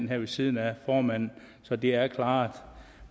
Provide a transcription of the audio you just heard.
ved siden af formanden så det er klaret